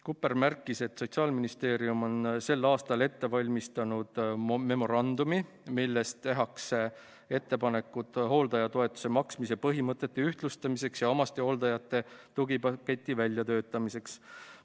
Kupper märkis, et Sotsiaalministeerium on sel aastal ette valmistanud memorandumi, milles tehakse ettepanekud hooldajatoetuse maksmise põhimõtete ühtlustamiseks ja omastehooldajate tugipaketi väljatöötamiseks.